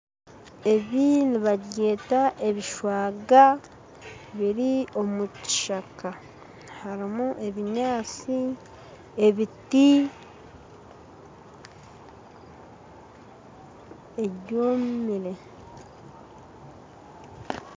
Ebi nibabyeta ebishwaga biri omukishaka, harimu ebinyantsi ,ebiti ebyomire